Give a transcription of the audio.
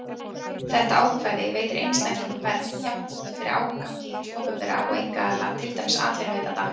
Þetta ákvæði veitir einstaklingum vernd jafnt fyrir ágangi hins opinbera og einkaaðila, til dæmis atvinnuveitanda.